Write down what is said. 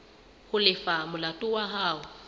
ho lefa molato wa hao